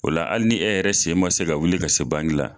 O la hali ni e yɛrɛ sen man se ka wuli ka se bangi la